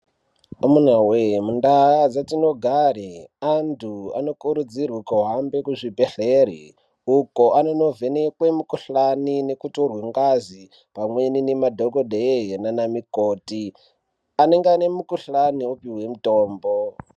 Amuna we mundaa dzatinogara antu anokurudzirwa kuhambe muzvibhedhlera uko anondovhenekwa mikuhlani nekutorwa ngazi pamweni nemadhokodheya Nana mikoti anenge ane mikuhlani opihwe mitombo.